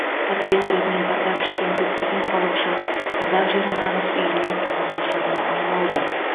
тоталитаризмнен зардап шеккен көптеген халық үшін қазақ жері нағыз үйіне туған ошағына айналды